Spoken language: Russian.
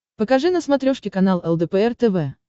покажи на смотрешке канал лдпр тв